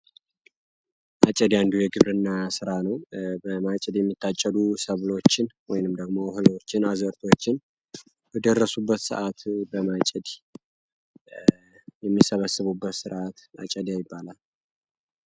አጨዳ አንዱ የግብርና ስራ ነው ሰብሎች በሚደርሱበት ሰአት ለማጨድ የሚሰባሰቡበት ስርዓት አጨዳ ይባላል።